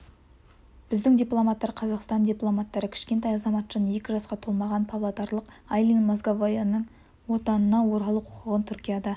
біздің дипломаттар қазақстан дипломаттары кішкентай азаматшаның екі жасқа толмаған павлодарлық айлин мозговаяның отанына оралу құқығын түркияда